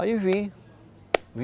Aí vim.